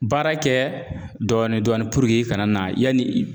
Baara kɛ dɔɔnin-dɔɔnin i kana na yanni